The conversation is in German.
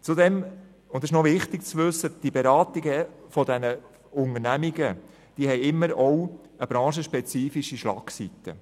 Zudem, und das ist noch wichtig zu wissen, haben die Beratungen von diesen Unternehmen immer auch eine branchenspezifische Schlagseite.